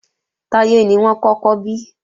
Táyé ni wọ́n kọ́kọ́ bí